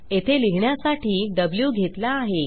येथे लिहिण्यासाठी व्ही घेतला आहे